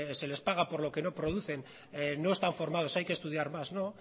se les paga por lo que no producen no están formados hay que estudiar más no